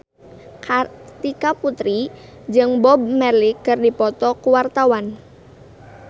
Kartika Putri jeung Bob Marley keur dipoto ku wartawan